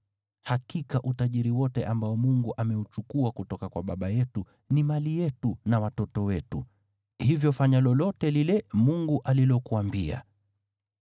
Hakika utajiri wote ambao Mungu ameuchukua kutoka kwa baba yetu ni mali yetu na watoto wetu. Hivyo fanya lolote lile Mungu alilokuambia.”